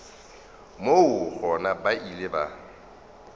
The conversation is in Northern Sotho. moo gona ba ile ba